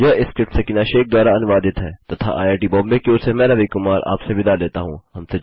यह स्क्रिप्ट सकीना शेख द्वारा अनुवादित है तथा आईआईटी बॉम्बे की ओर से मैं रवि कुमार आपसे विदा लेता हूँ